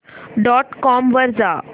dot com वर जा